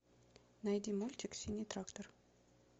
найди мультик синий трактор